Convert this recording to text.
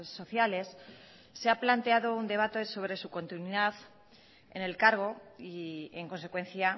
sociales se ha planteado un debate sobre su continuidad en el cargo y en consecuencia